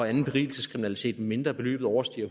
anden berigelseskriminalitet medmindre beløbet overstiger